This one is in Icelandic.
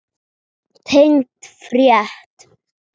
Tengd frétt